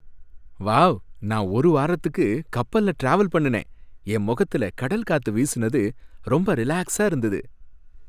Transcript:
Wow! நான் ஒரு வாரத்துக்கு கப்பல்ல டிராவல் பண்ணுனேன், என் முகத்துல கடல் காத்து வீசுனது ரொம்ப ரிலாக்ஸா இருந்தது.